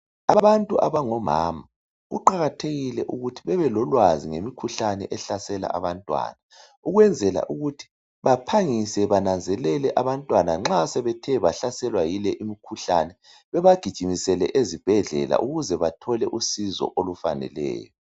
Abantu abangomama kuqakathekile ukuthi bebe lolwazi ngemikhuhlane ehlasela abantwana, ukwenzela ukuthi baphangise banenzelele abantwana nxa sebethe bahlaselwa yile imikhuhlane babagijimisele ezibhedlela ukuze bathole usiso olufaneleyo.